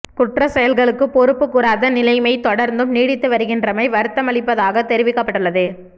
குற்றச் செயல்களுக்கு பொறுப்பு கூறாத நிலைமை தொடர்ந்தும் நீடித்து வருகின்றமை வருத்தமளிப்பதாகத் தெரிவிக்கப்பட்டுள்ளது